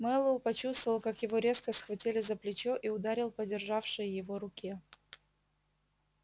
мэллоу почувствовал как его резко схватили за плечо и ударил по державшей его руке